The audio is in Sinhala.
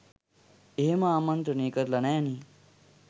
එහෙම ආමන්ත්‍රනේ කරල නෑනෙ.